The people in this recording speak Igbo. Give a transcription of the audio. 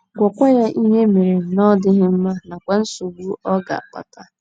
Gwakwa ya ihe mere na ọ dịghị mma, nakwa nsogbu ọ um ga - akpata.